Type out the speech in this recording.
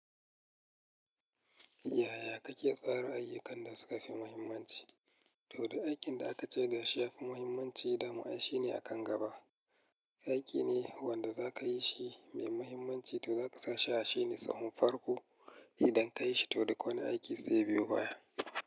Yaya kake tsara ayyukan da suka fi muhimmanci? To, duk aikin da aka ce gashi ya fi muhimmanci, dama shi ne a kan gaba. Aiki ne wanda za ka yi shi mai muhimmanci, to za ka sa shi a shi ne tsahon farko idan ka yi shi, to dai kowane aiki zai biyo baya.